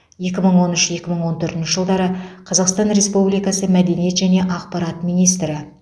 екі мың он үш екі мың он төртінші жылдары қазақстан республикасы мәдениет және ақпарат министрі